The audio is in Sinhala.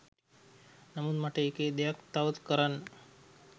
නමුත් මට එක දෙයක් තව කරන්න